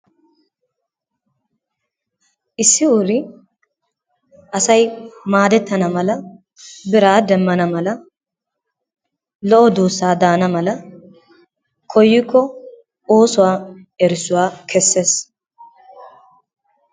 Issi uri asay maaddettana mala, biraa demmana mala, lo"o duussaa daana mala, koykko oosuwa erissuwa kessees.